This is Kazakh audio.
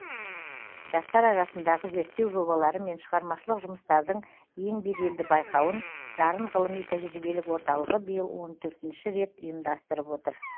жастар арасындағы зерттеу жобалары мен шығармашылық жұмыстардың ең беделді байқауын дарын ғылыми тәжірибелік орталығы биыл он төртінші рет ұйымдастырып отыр